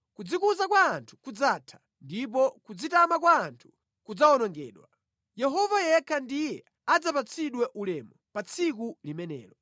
Kudzikuza kwa anthu kudzatha, ndipo kudzitama kwa anthu kudzawonongedwa; Yehova yekha ndiye adzapatsidwe ulemu pa tsiku limenelo.